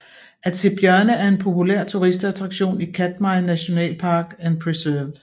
At se bjørne er en populær turistattraktion i Katmai National Park and Preserve